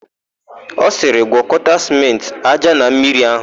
Ọ sịrị, "gwọkọta sịmentị, ája na mmiri áhụ̀"!